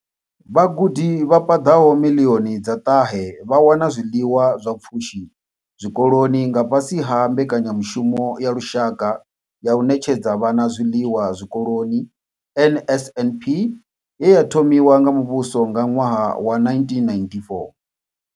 Vhagudi vha paḓaho miḽioni dza ṱahe vha wana zwiḽiwa zwa pfushi zwikoloni nga fhasi ha mbekanyamushumo ya lushaka ya u ṋetshedza vhana zwiḽiwa zwikoloni NSNP ye ya thomiwa nga muvhuso nga ṅwaha wa 1994.